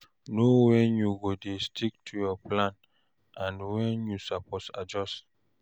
Know wen you go dey stick to your plan, and wen you suppose adjust.